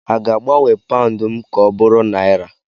a ga-agbanwe paụnd m ka ọ bụrụ naira